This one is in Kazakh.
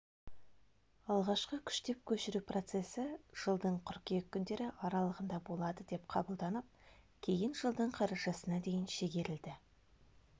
алғашқы күштеп көшіру процесі жылдың қыркүйек күндері аралығында болады деп қабылданып кейін жылдың қарашасына дейін шегерілді